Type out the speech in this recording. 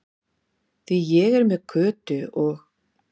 Því ég er með Kötu og